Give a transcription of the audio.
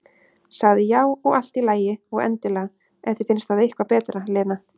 Sagðir já, og allt í lagi, og endilega, ef þér finnst það eitthvað betra, Lena.